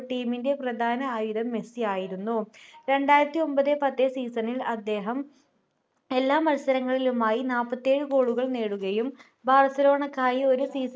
team ൻ്റെ പ്രധാന ആയുധം മെസ്സി ആയിരുന്നു രണ്ടായിരത്തിഒമ്പത്‌ പത്ത് season ൽ അദ്ദേഹം എല്ലാ മത്സരങ്ങളിലുമായി നാപ്പത്തിഏഴ് goal കൾ നേടുകയും ബാർസലോണക്കായി ഒരു